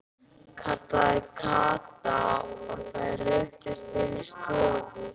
kallaði Kata og þær ruddust inn í stofu.